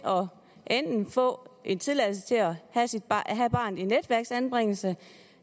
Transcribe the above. få en tilladelse til at have barnet i netværksanbringelse